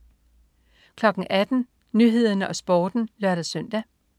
18.00 Nyhederne og Sporten (lør-søn)